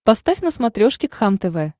поставь на смотрешке кхлм тв